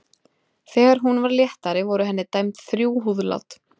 Þegar hún varð léttari voru henni dæmd þrjú húðlát.